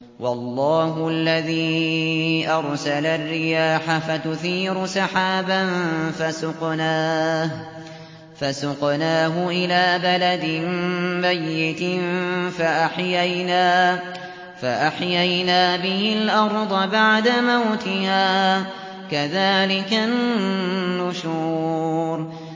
وَاللَّهُ الَّذِي أَرْسَلَ الرِّيَاحَ فَتُثِيرُ سَحَابًا فَسُقْنَاهُ إِلَىٰ بَلَدٍ مَّيِّتٍ فَأَحْيَيْنَا بِهِ الْأَرْضَ بَعْدَ مَوْتِهَا ۚ كَذَٰلِكَ النُّشُورُ